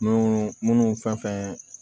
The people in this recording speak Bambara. Munnu munnu fɛn fɛn